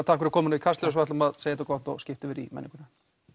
takk fyrir komuna í Kastljós ætlum að segja þetta gott og skipta yfir í menninguna